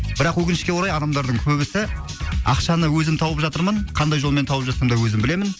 бірақ өкінішке орай адамдардың көбісі ақшаны өзім тауып жатырмын қандай жолмен тауып жатсам да өзім білемін